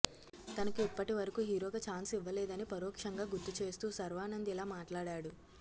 తనకు ఇప్పటివరకు హీరోగా ఛాన్స్ ఇవ్వలేదని పరోక్షంగా గుర్తుచేస్తూ శర్వానంద్ ఇలా మాట్లాడాడు